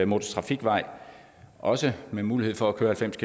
motortrafikvej også med mulighed for at køre halvfems